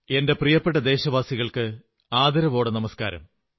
എന്റെ പ്രിയപ്പെട്ട ദേശവാസികൾക്ക് ആദരവോടെ നമസ്കാരം